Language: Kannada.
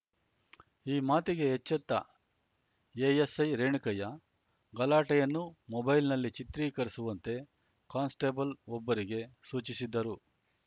ಈ ಮಾತಿಗೆ ಎಚ್ಚೆತ್ತ ಎಎಸ್‌ಐ ರೇಣುಕಯ್ಯ ಗಲಾಟೆಯನ್ನು ಮೊಬೈಲ್‌ನಲ್ಲಿ ಚಿತ್ರೀಕರಿಸುವಂತೆ ಕಾನ್‌ಸ್ಟೇಬಲ್‌ವೊಬ್ಬರಿಗೆ ಸೂಚಿಸಿದ್ದರು